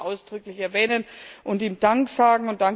Ich möchte ihn ausdrücklich erwähnen und ihm Dank sagen.